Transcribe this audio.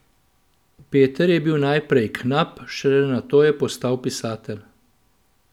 Peter je bil najprej knap, šele nato je postal pisatelj.